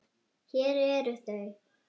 Hér eru þau